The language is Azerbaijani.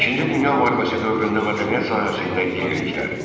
İkinci Dünya müharibəsi dövründə mədəniyyət sahəsində yeniliklər.